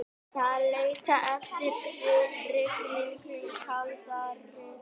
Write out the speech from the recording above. Þeir leita eftir hrygningu í kaldari sjó.